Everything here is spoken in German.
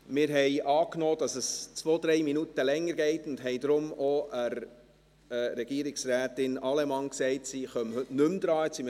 Wir haben angenommen, dass es 2, 3 Minuten länger dauern wird, und haben deshalb Regierungsrätin Allemann gesagt, sie sei heute nicht mehr an der Reihe.